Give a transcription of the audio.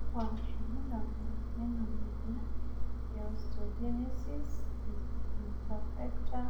kakua irbulabol lena moyian e Osteogenesis imperfecta